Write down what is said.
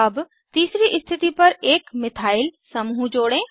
अब तीसरी स्थिति पर एक मिथाइल समूह जोड़ें